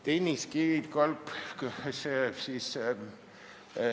Tennis! ...